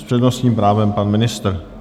S přednostním právem pan ministr.